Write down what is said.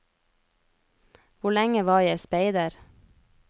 Hvor lenge var jeg speider?